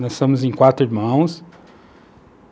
Nós somos em quatro irmãos.